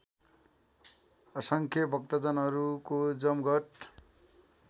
असङ्ख्य भक्तजनको जमघट